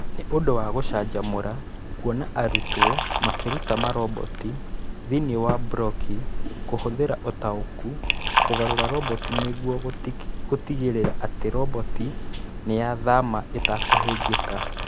Nĩ ũndũ wa gũcanjamũra kuona arutwo makĩruta maroboti thĩinĩ wa Blockly, kũhũthĩra ũtaũku kũgarũra roboti nĩguo gũtigĩrĩra atĩ roboti nĩyathama ĩtekũhĩngĩka.